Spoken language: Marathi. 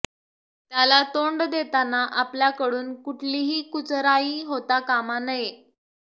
त्याला तोंड देताना आपल्याकडून कुठलीही कुचराई होता कामा नये